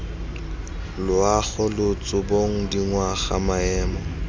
loago lotso bong dingwaga maemo